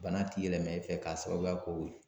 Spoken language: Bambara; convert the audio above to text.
Bana ti yɛlɛmɛ e fɛ k'a sababuya k'o ye